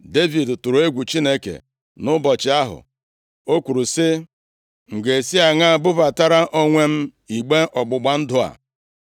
Devid tụrụ egwu Chineke nʼụbọchị ahụ, o kwuru sị, “M ga-esi aṅaa bubatara onwe m igbe ọgbụgba ndụ a?”